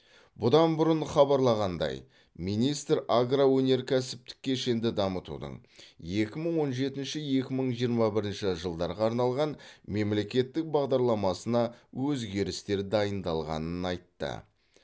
бұдан бұрын хабарланғандай министр агроөнеркәсіптік кешенді дамытудың екі мың он жетінші екі мың жиырма бірінші жылдарға арналған мемлекеттік бағдарламасына өзгерістер дайындалғанын айтты